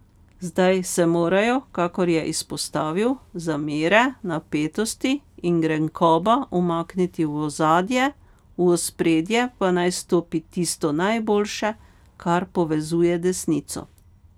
Zdaj se morajo, kakor je izpostavil, zamere, napetosti in grenkoba umakniti v ozadje, v ospredje pa naj stopi tisto najboljše, kar povezuje desnico.